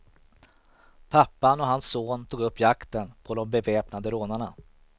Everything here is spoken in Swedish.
Pappan och hans son tog upp jakten på de beväpnade rånarna.